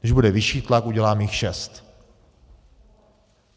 Když bude vyšší tlak, udělám jich šest.